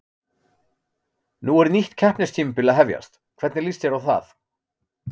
Nú er nýtt keppnistímabil að hefjast, hvernig líst þér á það?